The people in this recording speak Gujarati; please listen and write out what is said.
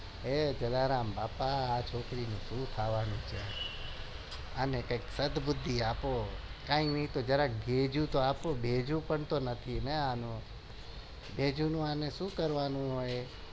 હવે જલારામ બાપા આ છોકરી નું શું થાય જોજો